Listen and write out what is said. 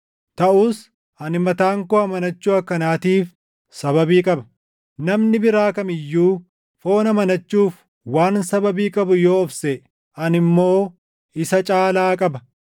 taʼus ani mataan koo amanachuu akkanaatiif sababii qaba. Namni biraa kam iyyuu foon amanachuuf waan sababii qabu yoo of seʼe, ani immoo isa caalaa qaba: